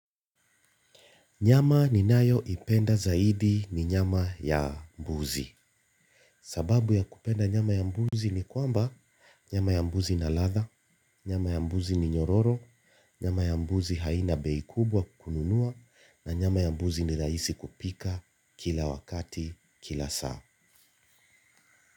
Nyama ninayoipenda zaidi ni nyama ya mbuzi. Sababu ya kupenda nyama ya mbuzi ni kwamba, nyama ya mbuzi ina ladha, nyama ya mbuzi ni nyororo, nyama ya mbuzi haina bei kubwa kununua na nyama ya mbuzi ni rahisi kupika kila wakati kila saa.